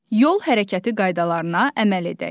Yol hərəkəti qaydalarına əməl edək.